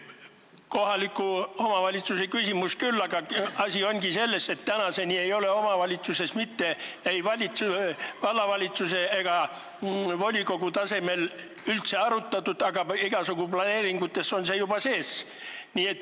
See on kohaliku omavalitsuse küsimus küll, aga asi ongi selles, et tänaseni ei ole seda ei vallavalitsuse ega volikogu tasemel üldse arutatud, aga igasugu planeeringutes on see juba sees.